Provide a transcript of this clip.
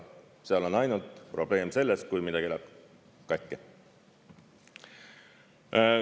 Seal on ainult probleem selles, kui midagi läheb katki.